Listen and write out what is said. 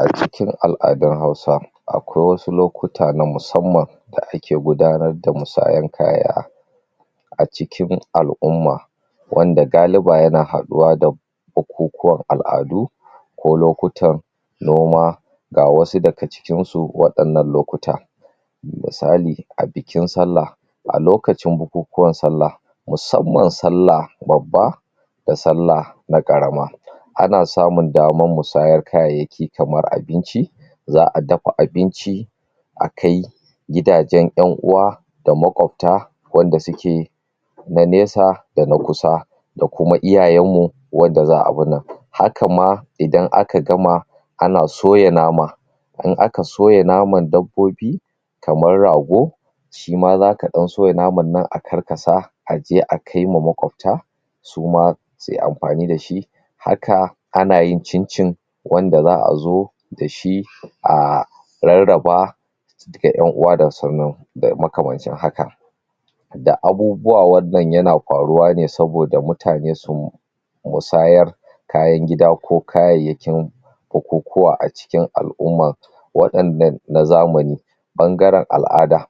A cikin al'adun Hausa akwai wasu lokuta na musamman da ake gudanar da musayan kaya a cikin al'umma wanda galiba ya na haɗuwa da bukuwan al'adu, ko lokutan noma. Ga wasu daga cikin su waɗannan lokuta. Misali a bikin sallah a lokacin bukukuwan sallah musamman sallah babba da sallah na ƙarama ana samun damar musayar kayayyaki kamar abinci, za'a dafa abinci a kai gidajen ƴan-uwa da maƙwabta wanda suke na nesa da na kusa da kuma iyayen mu wanda za abun nan. Haka ma idan aka gama ana soya nama in aka soya naman dabbobi, kamar rago, shi ma za ka ɗan soya naman nan a karkasa aje a kaima maƙwabta, su ma suyi amfani da shi. Haka ana yin cin-cin wanda za'a zo da shi aah rarraba ga ƴan-uwa da sannan makamancin haka. Da abubuwa wannan ya na faruwa ne saboda mutane su musayar kayan kida ko kayayyakin bukukuwa a cikin al'umma waɗannan na zamani ɓangaren al'ada.